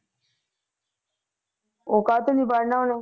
ਉਹ ਕਾਹਤੋਂ ਨੀ ਪੜ੍ਹਨਾ ਉਹਨੇ?